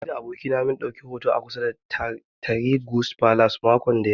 Ni da abokina mun ɗauki hoto kusa da Tahir guest palace makon da ya gabata